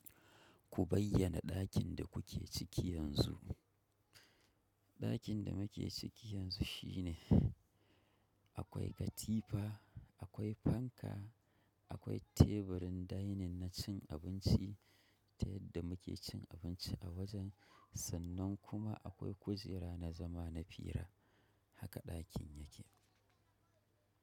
Ku bayyana ɗakin da kuke ciki yanzu. Ɗakin da muke ciki yanzu shine akwai katifa, akwai fanka, akwai teburin dining na cin abinci ta yadda muke cin abinci a wajen sannan kuma akwai kujera na zama na fira. Haka ɗakin yake.